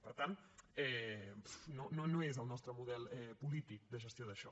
per tant no és el nostre model polític de gestió d’això